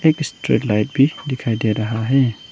एक street light भी दिखाई दे रहा है।